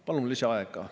Palun lisaaega.